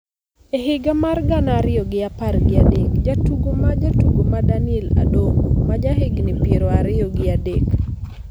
E higa mar gana ariyo gi apar gi adek, jatugo ma jatugo ma Daniel Adongo, ma jahigni piero ariyo gi adek,